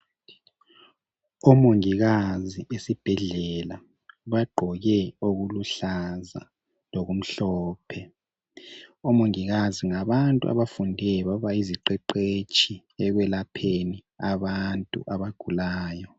omongikazi besibhedlela bagqoke okuluhlaza lokumhlophe omongikazi ngabantu abafunde babayiziqeqetshi ekwelapheni abantu abagulayo